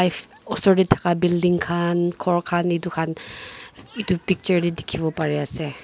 osor te thakan building khan khor khan etu khan etu picture te dekhi bo pari se.